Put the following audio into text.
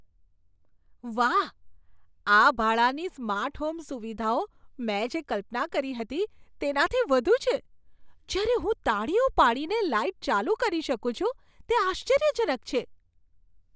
વાહ, આ ભાડાની સ્માર્ટ હોમ સુવિધાઓ મેં જે કલ્પના કરી હતી તેનાથી વધુ છે. જ્યારે હું તાળીઓ પાડીને લાઈટ ચાલુ કરી શકું છું તે આશ્ચર્યજનક છે!